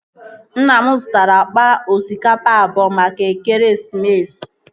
Nna m zutara akpa osikapa abụọ maka ekeresimesi